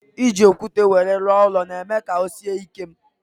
E ji okwute wéré rụọ ụlọ na eme ka ọ sie ike